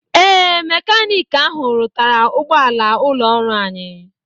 Ee, mekanik ahụ rụtara ụgbọala ụlọọrụ anyị.